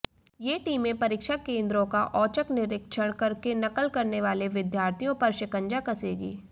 ये टीमें परीक्षा केंद्रों का औचक निरीक्षण करके नकल करने वाले विद्यार्थियों पर शिकंजा कसेंगी